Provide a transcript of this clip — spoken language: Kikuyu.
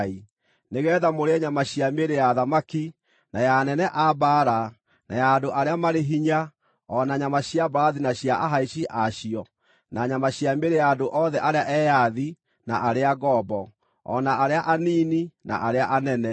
nĩgeetha mũrĩe nyama cia mĩĩrĩ ya athamaki, na ya anene a mbaara, na ya andũ arĩa marĩ hinya, o na nyama cia mbarathi na cia ahaici a cio, na nyama cia mĩĩrĩ ya andũ othe arĩa eyathi na arĩa ngombo, o na arĩa anini na arĩa anene.”